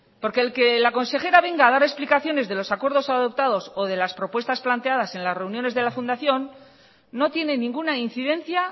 porque el que la consejera venga a dar explicaciones de los acuerdos adoptados o de las propuestas planteadas en las reuniones de la fundación no tiene ninguna incidencia